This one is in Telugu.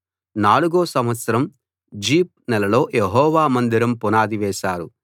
నాలుగో సంవత్సరం జీప్‌ నెలలో యెహోవా మందిరం పునాది వేశారు